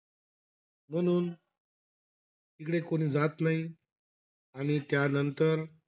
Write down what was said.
म्हणून तिकडे कोणी जात नाही. आणि त्यानंतर,